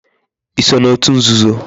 I so na otu nzuzo?